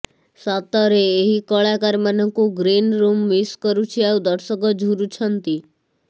ସତରେ ଏହି କଳାକାରମାନଙ୍କୁ ଗ୍ରୀନ ରୁମ୍ ମିସ୍ କରୁଛି ଆଉ ଦର୍ଶକ ଝୁରୁଛନ୍ତି